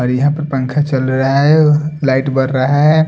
और यहाँ पे पंखा चल रहा है लाइट बर रहा है।